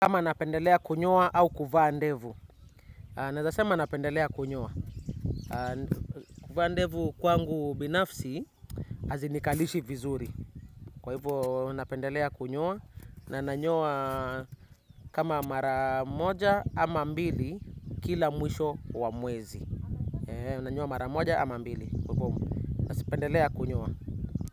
Kama napendelea kunyoa au kuvaa ndevu. Nawezasema napendelea kunyoa. Kuvaa ndevu kwangu binafsi hazinikalishi vizuri. Kwa hivyo napendelea kunyoa na nanyowa kama mara moja ama mbili kila mwisho wa mwezi. Nanyoa mara moja ama mbili na sipendelea kunyoa.